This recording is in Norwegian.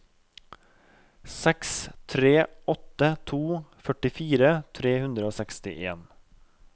seks tre åtte to førtifire tre hundre og sekstien